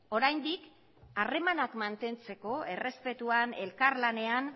oraindik harremanak mantentzeko errespetuan elkarlanean